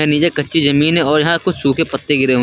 नीचे कच्ची जमीन है और यहां कुछ सूखे पत्ते गिरे हुए--